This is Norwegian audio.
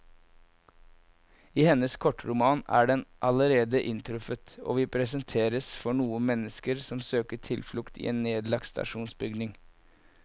I hennes kortroman er den allerede inntruffet, og vi presenteres for noen mennesker som søker tilflukt i en nedlagt stasjonsbygning.